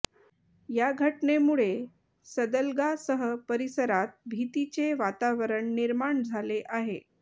या घटनेमुळे सदलगासह परिसरात भीतीचे वातावरण निर्माण झाले आहे